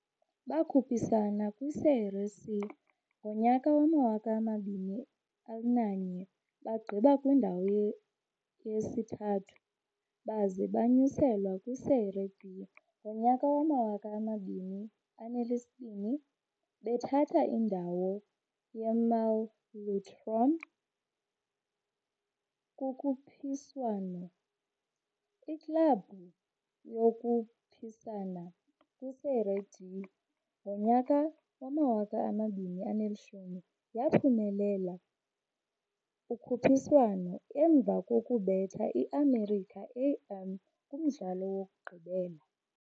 Bakhuphisana kwi-Série C ngo-2001, bagqiba kwindawo yesithathu, baze banyuselwe kwi-Série B ngo-2002, bethatha indawo ye-Malutrom kukhuphiswano. Iklabhu yakhuphisana kwi-Série D ngo-2010, yaphumelela ukhuphiswano emva kokubetha i-América-AM kumdlalo wokugqibela.